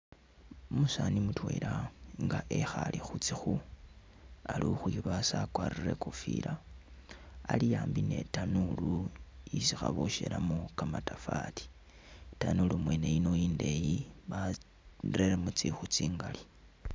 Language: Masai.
Umusaani mutwela nga wekhaale khu tsikhu, ali ukhwibaasa wakwarire i'kofila ali ambi ni i'tanuulu isi khaboshelamu kamatafari, itanuulu wene iyi i'ndeeyi bareremo tsikhu tsingali.